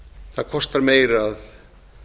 það kostar meira að